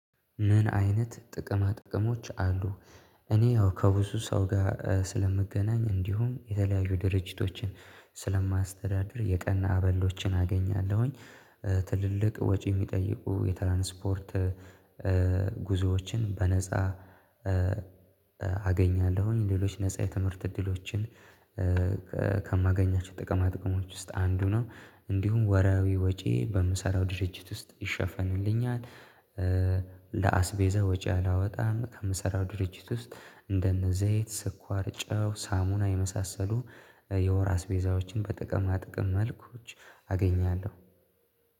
ምን አይነት ጥቅማ ጥቅሞች አሉ? እኔ ያው ከብዙ ሰው ጋር ስለምገናኝ እንዲሁም የተለያዩ ድርጅቶችን ስለማስተዳደር የቀና አበሎችን አገኛለሁኝ ትልልቅ ወጪ የሚጠይቁ የትራንስፖርት ጉዞዎችን በነፃ አገኛለሁኝ ሌሎች ነፃ የትምህርት እድሎችን ከማገኛቸው ጥቅማ ጥቅሞች ውስጥ አንዱ ነው እንዲሁም ወርሃዊ ወጪ በምሰራው ድርጅት ውስጥ ይሸፈንልኛል ለአስቤዘ ወጪ አላወጣም ከምሰራው ድርጅት ውስጥ እንደነ ዘይት ስኳር ጨው ሳሙና የመሳሰሉ የወር አስቤዛዎችን በጥቅማ ጥቅም መልኮች አገኛለሁ